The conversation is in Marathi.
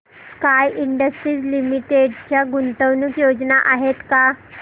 स्काय इंडस्ट्रीज लिमिटेड च्या गुंतवणूक योजना आहेत का